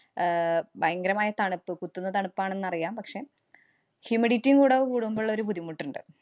ആഹ് ഭയങ്കരമായ തണുപ്പ് കുത്തുന്ന തണുപ്പാണെന്ന് അറിയാം. പക്ഷേ, humidity ഉം കൂടെ കൂടുമ്പോള്ളൊരു ബുദ്ധിമുട്ട് ഇണ്ട്.